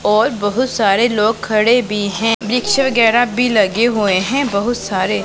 और बहुत सारे लोग खड़े भी हैं वृक्ष वगैरा भी लगे हुए हैं बहुत सारे--